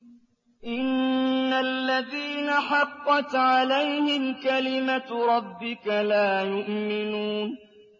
إِنَّ الَّذِينَ حَقَّتْ عَلَيْهِمْ كَلِمَتُ رَبِّكَ لَا يُؤْمِنُونَ